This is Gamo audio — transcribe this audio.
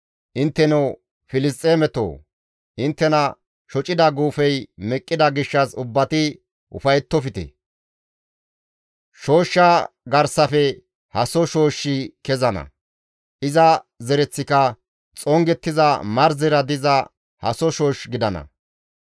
Intteno Filisxeeme asatoo, inttena shocida guufey meqqida gishshas ubbati ufayettofte; shooshshaa garsafe haso shooshshi kezana; iza zereththika xongettiza marzera diza haso shoosh gidana.